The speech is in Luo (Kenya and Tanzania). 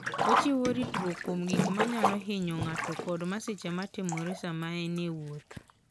Ochiwo ritruok kuom gik manyalo hinyo ng'ato kod masiche ma timore sama en e wuoth.